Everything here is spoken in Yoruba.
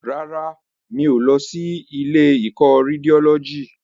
Rárá, mi ò lọ sí ilé ìkọ́ Rédiólọ́jì